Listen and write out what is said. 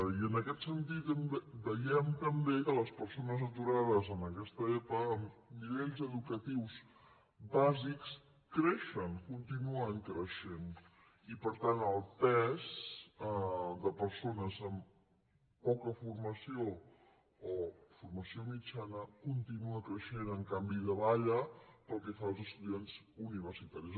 i en aquest sentit veiem també que les persones aturades en aquesta epa amb nivells educatius bàsics creixen continuen creixent i per tant el pes de persones amb poca formació o formació mitjana continua creixent en canvi davalla pel que fa als estudiants universitaris